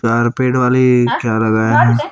चार पेड़ वाली क्या लगया है।